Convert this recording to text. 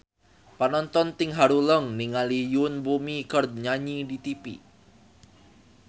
Panonton ting haruleng ningali Yoon Bomi keur nyanyi di tipi